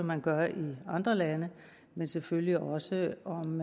man gør i andre lande men selvfølgelig også om